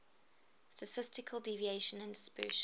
statistical deviation and dispersion